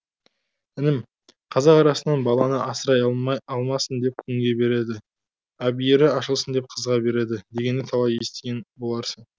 інім қазақ арасынан баланы асырай алмасын деп күңге береді әбиірі ашылсын деп қызға береді дегенді талай естіген боларсың